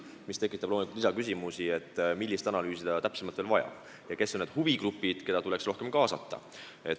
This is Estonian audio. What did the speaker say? See tekitab loomulikult lisaküsimusi, et millist analüüsi täpsemalt on vaja ja kes on need huvigrupid, keda tuleks rohkem kaasata.